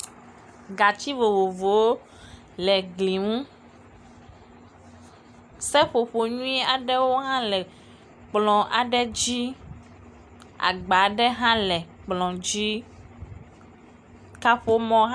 Gatsi vovovowo le gli ŋu. Seƒoƒo nyui aɖewo hã le kplɔ̃ aɖe dzi. Agba aɖe hã le kplɔ̃ dzi. kaƒomɔ hã.